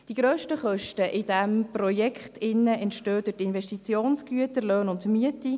Die grössten Kosten in diesem Projekt entstehen durch Investitionsgüter, Löhne und Miete.